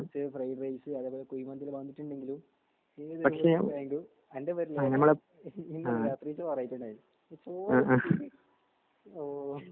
fried rice അതുപോലെ കുഴിമന്തി എല്ലാം വാങ്ങീട്ടുണ്ടെങ്കിൽ അൻ്റെ ഓഹ്